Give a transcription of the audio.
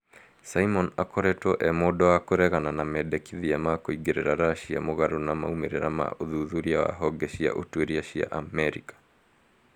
Simon akoretwo e mũndũ wa kũregana na mendekithia ma kũingĩrĩra Russia mũgarũ na maũmĩrĩra ma ũthuthuria wa honge cia ũtuĩria cia Amerika